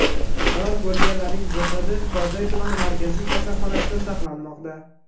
Halok bo‘lganlarning jasadi Korday tumani markaziy kasalxonasida saqlanmoqda.